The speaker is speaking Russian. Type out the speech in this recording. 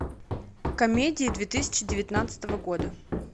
комедии две тысячи девятнадцатого года